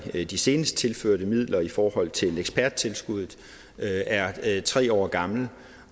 de senest tilførte midler i forhold til eksperttilskuddet er tre år gammel